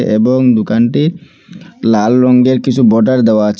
এবং দোকানটির লাল রঙ্গের কিছু বর্ডার দেওয়া আছে।